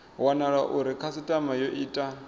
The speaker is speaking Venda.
wanala uri khasitama yo ita